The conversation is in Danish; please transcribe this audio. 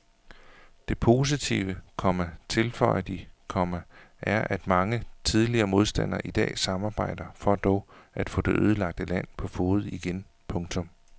Det positive, komma tilføjer de, komma er at mange tidligere modstandere i dag samarbejder for dog at få det ødelagte land på fode igen. punktum